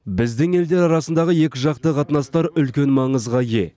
біздің елдер арасындағы екіжақты қатынастар үлкен маңызға ие